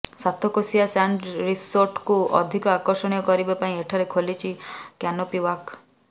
Satkosia sand ରିସୋର୍ଟକୁ ଅଧିକ ଆକର୍ଷଣୀୟ କରିବା ପାଇଁ ଏଠାରେ ଖୋଲିଛି କ୍ୟାନୋପି ୱାକ୍